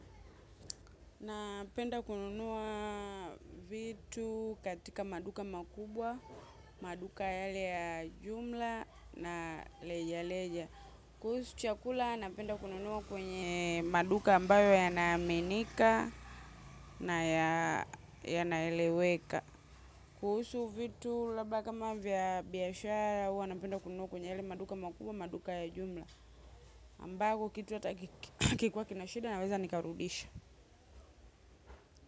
Napenda kununua vitu katika maduka makubwa, maduka yale ya jumla na leja leja. Kuhusu chakula napenda kununuwa kwenye maduka ambayo yanaaminika na yanaeleweka. Kuhusu vitu labda kama vya biashara huwa napenda kununua kwenye yale maduka makubwa, maduka ya jumla. Ambako kitu hatakikiwa kina shida naweza nikarudisha.